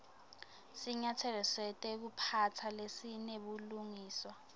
sinyatselo setekuphatsa lesinebulungiswa